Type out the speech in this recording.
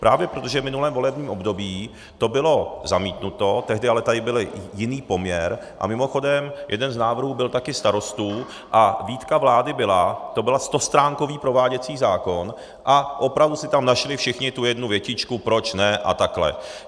Právě proto, že v minulém volebním období to bylo zamítnuto, tehdy ale tady byl jiný poměr, a mimochodem, jeden z návrhů byl taky Starostů a výtka vlády byla, to byl stostránkový prováděcí zákon a opravdu si tam našli všichni tu jednu větičku, proč ne a takhle.